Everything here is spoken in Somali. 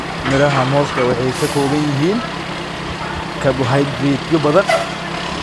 Midhaha mooska waxay ka kooban yihiin karbohaydraytyo badan.